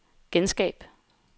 genskab